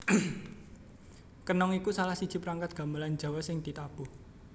Kenong iku salahsiji perangkat gamelan Jawa sing ditabuh